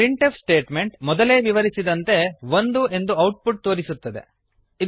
ಈ printf statement ಮೊದಲೇ ವಿವರಿಸಿದಂತೆ ಒಂದು ಎಂದು ಔಟ್ ಪುಟ್ ತೋರಿಸುತ್ತದೆ